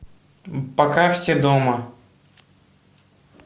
пока все дома